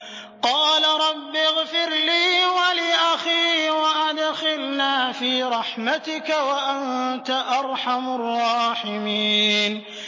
قَالَ رَبِّ اغْفِرْ لِي وَلِأَخِي وَأَدْخِلْنَا فِي رَحْمَتِكَ ۖ وَأَنتَ أَرْحَمُ الرَّاحِمِينَ